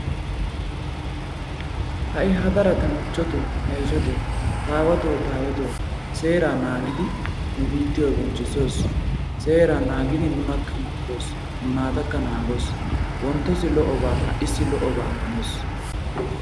Hai hadara ta michotoo, ta ishshatoo ,ta awatoo ta ayeetoo serraa mana giikko nu biittiyo bonchchisosos. Seeraa naagiddi nunakka naagoos, nunaatakka naagoos. Wonttossi haissi lo'obaa amanoos.